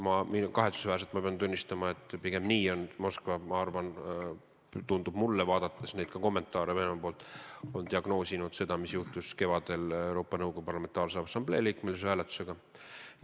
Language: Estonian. Ja kahetsusväärselt pean ma tunnistama, et pigem nii on Moskva – mulle tundub sedasi, vaadates Venemaa-poolseid kommentaare – diagnoosinud seda, mis juhtus kevadel Euroopa Nõukogu Parlamentaarse Assamblee liikmesuse hääletusel.